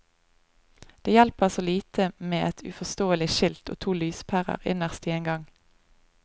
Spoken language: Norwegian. Det hjelper så lite med et uforståelig skilt og to lyspærer innerst i en gang.